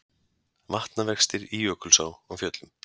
Vatnavextir í Jökulsá á Fjöllum